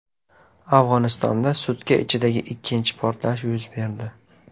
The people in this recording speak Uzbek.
Afg‘onistonda sutka ichidagi ikkinchi portlash yuz berdi.